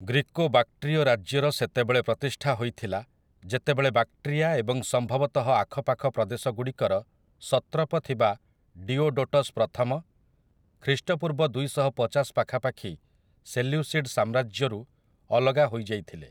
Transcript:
Greco ବାକ୍ଟ୍ରୀୟ ରାଜ୍ୟର ସେତେବେଳେ ପ୍ରତିଷ୍ଠା ହୋଇଥିଲା ଯେତେବେଳେ ବାକ୍ଟ୍ରୀଆ ଏବଂ ସମ୍ଭବତଃ ଆଖପାଖ ପ୍ରଦେଶଗୁଡ଼ିକର ସତ୍ରପ ଥିବା ଡିୟୋଡୋଟସ୍ ପ୍ରଥମ, ଖ୍ରୀଷ୍ଟପୂର୍ବ ଦୁଇଶହପଚାଶ ପାଖାପାଖି ସେଲ୍ୟୁସିଡ୍ ସାମ୍ରାଜ୍ୟରୁ ଅଲଗା ହୋଇଯାଇଥିଲେ ।